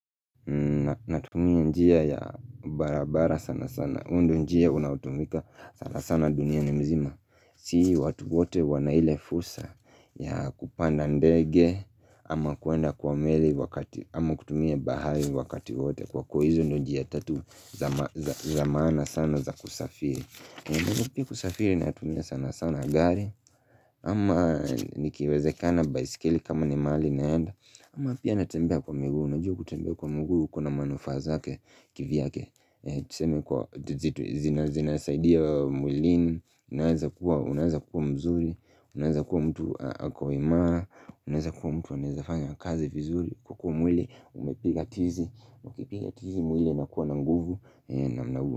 Natumia njia ya barabara sana sana huu ndo njia unaotumika sana sana dunia ni mzima Si watu wote wana ile fursa ya kupanda ndege ama kuenda kwa meli ama kutumia bahari wakati wote Kwa kuwa hizo ndo njia tatu za maana sana za kusafiri Mimi pia kusafiri natumia sana sana gari ama nikiwezekana baisikili kama ni mahali naenda ama pia natembea kwa mguu, unajua kutembea kwa mguu kuna manufaa zake kivyake Tuseme kwa zina zinasaidia mwilini, unaheza kuwa mzuri, unaheza kuwa mtu akawima Unaweza kuwa mtu, unaweza fanya kazi vizuri, huku mwili, umepiga tizi, mwili na kuwa na nguvu namna huo.